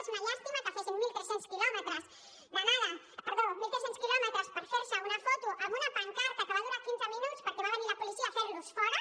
és una llàstima que fessin mil tres cents quilòmetres per fer se una foto amb una pancarta que va durar quinze minuts perquè va venir la policia a fer los fora